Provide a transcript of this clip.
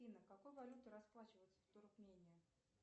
афина какой валютой расплачиваются в туркмении